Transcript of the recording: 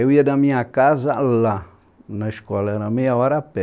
Eu ia da minha casa lá na escola, era meia hora a pé.